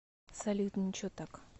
салют ниче так